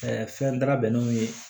fɛn da bɛnnenw ye